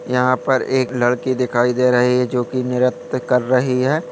यहां पर एक लड़की दिखाई दे रही है जो की निरत कर रही है ।